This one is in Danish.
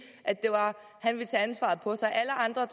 at han ville tage ansvaret på sig alle andre